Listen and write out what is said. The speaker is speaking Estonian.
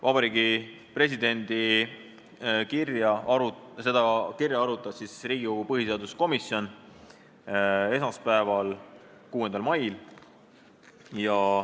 Vabariigi Presidendi kirja arutas Riigikogu põhiseaduskomisjon esmaspäeval, 6. mail.